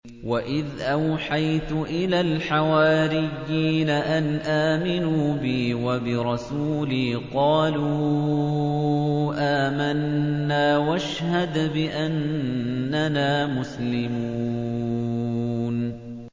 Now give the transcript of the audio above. وَإِذْ أَوْحَيْتُ إِلَى الْحَوَارِيِّينَ أَنْ آمِنُوا بِي وَبِرَسُولِي قَالُوا آمَنَّا وَاشْهَدْ بِأَنَّنَا مُسْلِمُونَ